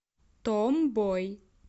том бой